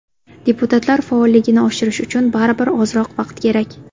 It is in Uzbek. Deputatlar faolligini oshirish uchun baribir ozroq vaqt kerak.